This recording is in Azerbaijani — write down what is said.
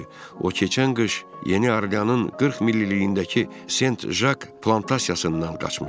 o keçən qış Yeni Orleanın 40 mililiyindəki Saint Jacques plantasiyasından qaçmışdı.